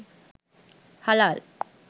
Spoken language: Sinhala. halal